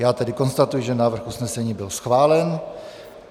Já tedy konstatuji, že návrh usnesení bych schválen.